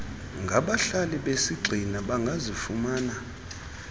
ngabahlali besigxina bangazifumana